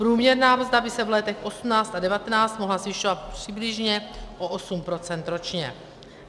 Průměrná mzda by se v letech 2018 a 2019 mohla zvyšovat přibližně o 8 % ročně.